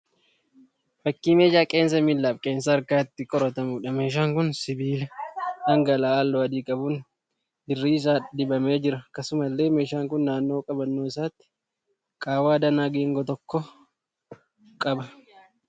Fakkii meeshaa qeensa miillaa fi qeensa harkaa itti qoratamuudha. Meeshaan kun sibiila dhangala'aa halluu adii qabuun dirri isaa dibamee jira. Akkasumallee meeshaan kun naannoo qabannoo isaatii qaawwaa danaa geengoo tokko qaba.